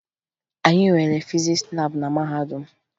Anyị nwere fizis laabụ na mahadum m